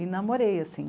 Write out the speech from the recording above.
E namorei, assim.